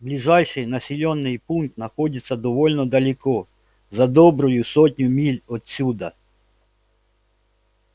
ближайший населённый пункт находится довольно далеко за добрую сотню миль отсюда